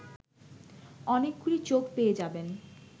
অনেকগুলি চোখ পেয়ে যাবেন